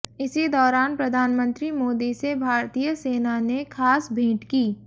इसी दौरान प्रधानमंत्री मोदी से भारतीय सेना ने खास भेंट की